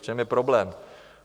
V čem je problém?